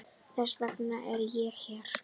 Þess vegna er ég hér.